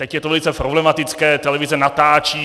Teď je to velice problematické, televize natáčí.